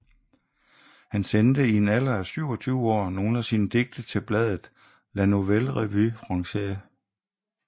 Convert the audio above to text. Han sendte i en alder af 27 år nogle af sine digte til bladet La Nouvelle Revue Française